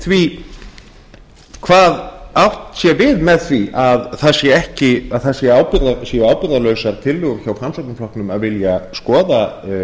því hvað átt sé við með því að það séu ábyrgðarlausar tillögur frá framsóknarflokknum að vilja skoða